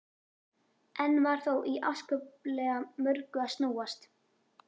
Enn var þó í afskaplega mörgu að snúast.